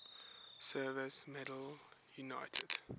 service medal united